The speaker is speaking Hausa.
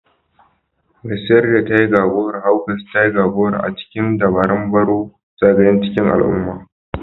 Mai siyar da tiger goro Hawks tiger goro a cikin dabaran barrow zagaye cikin al'umma